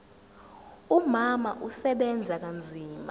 umama usebenza kanzima